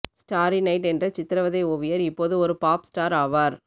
starry night என்ற சித்திரவதை ஓவியர் இப்போது ஒரு பாப் ஸ்டார் ஆவார்